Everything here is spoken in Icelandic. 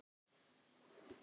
Það sér okkur enginn.